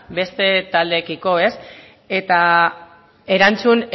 beste taldeekiko eta erantzun